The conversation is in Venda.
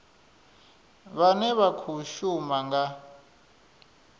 vhane vha khou shuma nga